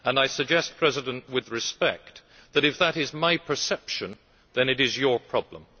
I suggest, President in Office, with respect, that if that is my perception then it is your problem.